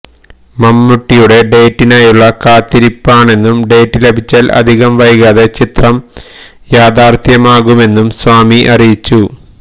മമ്മൂട്ടിയുടെ ഡേറ്റിനായുള്ള കാത്തിരിപ്പാണെന്നും ഡേറ്റ് ലഭിച്ചാല് അധികം വൈകാതെ ചിത്രം യാഥാര്ത്ഥ്യമാകുമെന്നും സ്വാമി അറിയിച്ചു